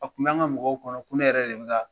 A kun b'an ka mɔgɔw kɔnɔ ko ne yɛrɛ de bi ka